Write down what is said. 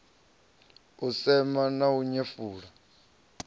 u sema na u nyefula